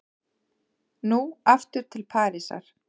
Nú aftur til Parísar.